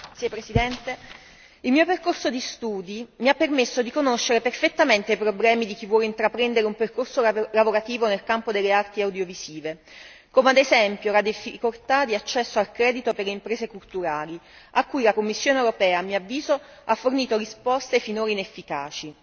Signor Presidente, onorevoli colleghi, il mio percorso di studi mi ha permesso di conoscere perfettamente i problemi di chi vuole intraprendere un percorso lavorativo nel campo delle arti audiovisive come, ad esempio, la difficoltà di accesso al credito per le imprese culturali a cui la Commissione europea, a mio avviso, ha fornito risposte finora inefficaci.